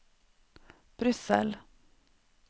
Brussel